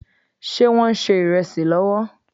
Ṣé Wọ́n ń ṣe ìrẹsì lọ́wọ́?